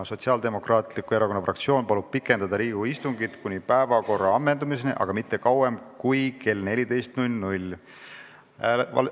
Sotsiaaldemokraatliku Erakonna fraktsioon palub pikendada Riigikogu istungit kuni päevakorra ammendamiseni, aga mitte kauem kui kella 14-ni.